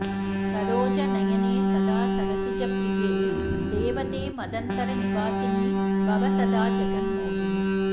सरोजनयने सदा सरसिजप्रिये देवते मदन्तरनिवासिनी भव सदा जगन्मोहिनी